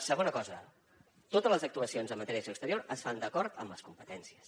segona cosa totes les actuacions en matèria d’acció exterior es fan d’acord amb les competències